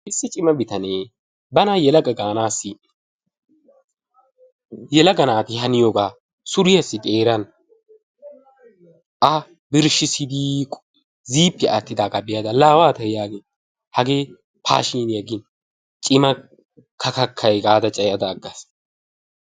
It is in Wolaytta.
Issi cima bitanee bana yelaga gaanaassi yelaga naati haniyobaa suriyassi xeeran a birshshissidi ziippiya aattidaagaa be'ada laa waatay yaagin hagee paashiiniya gin cima kakakkay gaada cayada aggaas.